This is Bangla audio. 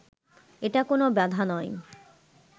এটা কোনো বাধা নয়